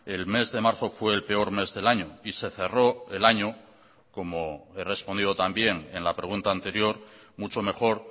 el mes de marzo fue el peor mes del año y se cerró el año como he respondido también en la pregunta anterior mucho mejor